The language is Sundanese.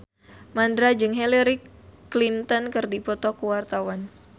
Mandra jeung Hillary Clinton keur dipoto ku wartawan